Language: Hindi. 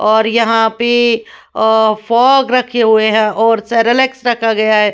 और यहां पे अ फॉग रखे हुए हैं और सेरेलेक्स रखा गया है।